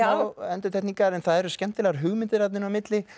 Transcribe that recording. endurtekningar en það eru skemmtilegar hugmyndir þarna inn á milli